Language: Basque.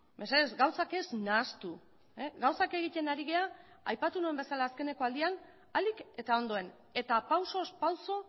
mesedez gauzak ez nahastu gauzak egiten ari gara aipatu nuen bezala azkeneko aldian ahalik eta ondoen eta pausoz pauso